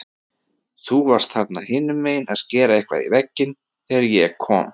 Þú varst þarna hinumegin að skera eitthvað í vegginn þegar ég kom.